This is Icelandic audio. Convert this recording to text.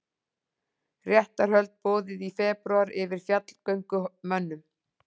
Réttarhöld boðuð í febrúar yfir fjallgöngumönnum